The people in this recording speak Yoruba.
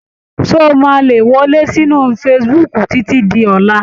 Ṣé ó máa le wọlé sí inú facebook títí di ọ̀la?